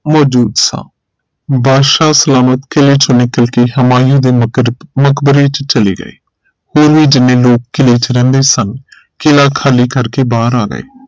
ਮੌਜੂਦ ਸਾ ਬਾਦਸ਼ਾਹ ਸਲਾਮਤ ਕਿਲੇ ਚੋ ਨਿਕਲ ਕੇ ਹਮਾਇਲੇ ਦੇ ਮਕਰ ਮਕਬਰੇ ਚ ਚਲੇ ਗਏ ਹੋਰ ਵੀ ਜਿੰਨੇ ਲੋਕ ਕਿਲੇ ਚ ਰਹਿੰਦੇ ਸਨ ਕਿਲਾ ਖਾਲੀ ਕਰ ਕੇ ਬਾਹਰ ਆ ਗਏ